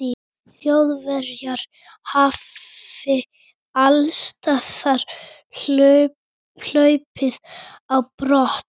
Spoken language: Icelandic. þjóðverjar hafi allsstaðar hlaupist á brott